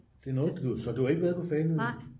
så du har ikke været på fanø